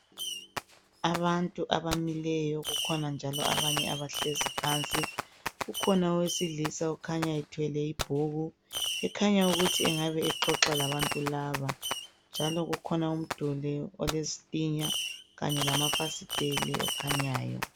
Abantu abamileyo kukhona njalo abanye abahlezi phansi. Ukhona owesilisa okhanya ethwele ibhuku ekhanya ukuthi engabe exoxa labantu laba njalo kukhona umduli okulezitina kanye lama fasitele okukhanyayo.